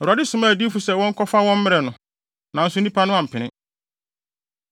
Awurade somaa adiyifo sɛ wɔnkɔfa wɔn mmrɛ no, nanso nnipa no ampene.